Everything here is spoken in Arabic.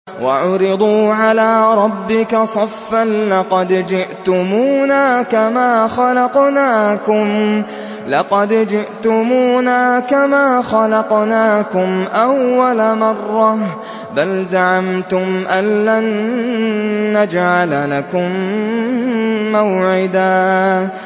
وَعُرِضُوا عَلَىٰ رَبِّكَ صَفًّا لَّقَدْ جِئْتُمُونَا كَمَا خَلَقْنَاكُمْ أَوَّلَ مَرَّةٍ ۚ بَلْ زَعَمْتُمْ أَلَّن نَّجْعَلَ لَكُم مَّوْعِدًا